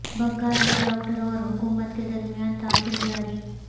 بنگال میں ڈاکٹروں اور حکومت کے درمیان تعطل جاری